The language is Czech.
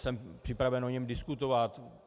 Jsem připraven o něm diskutovat.